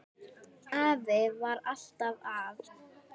Afi var alltaf að.